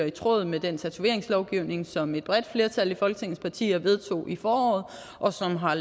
i tråd med den tatoveringslovgivning som et bredt flertal af folketingets partier vedtog i foråret og som har